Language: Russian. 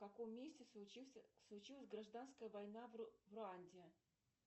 в каком месте случился случилась гражданская война в руанде